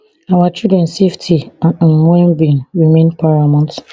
our children safety and um wellbeing remain paramount